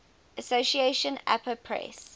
association apa press